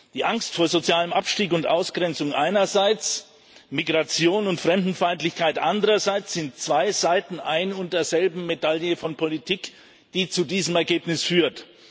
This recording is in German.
Die Angst vor sozialem Abstieg und Ausgrenzung einerseits, Migration und Fremdenfeindlichkeit andererseits sind zwei Seiten ein und derselben Medaille von Politik, die zu diesem Ergebnis führt.